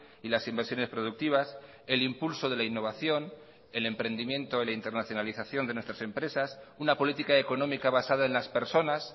y las inversiones productivas el impulso de la innovación el emprendimiento y la internacionalización de nuestras empresas una política económica basada en las personas